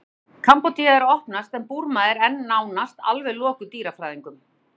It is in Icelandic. kambódía er að opnast en burma er enn nánast alveg lokuð dýrafræðingum